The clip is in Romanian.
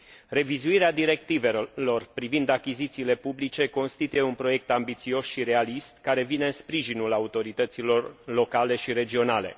Revizuirea directivelor privind achizițiile publice constituie un proiect ambițios și realist, care vine în sprijinul autorităților locale și regionale.